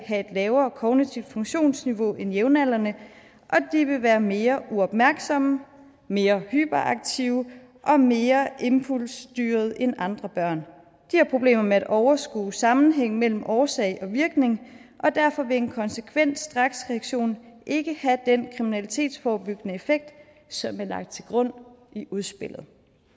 have et lavere kognitivt funktionsniveau end jævnaldrende og de vil være mere uopmærksomme mere hyperaktive og mere impulsstyrede end andre børn de har problemer med at overskue sammenhæng mellem årsag og virkning og derfor vil en konsekvent straksreaktion ikke have den kriminalitetsforebyggende effekt som er lagt til grund i udspillet